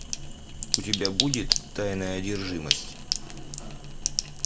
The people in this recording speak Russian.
у тебя будет тайная одержимость